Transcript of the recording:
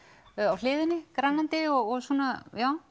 á hliðinni grennandi og svona já